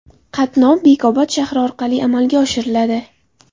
Qatnov Bekobod shahri orqali amalga oshiriladi.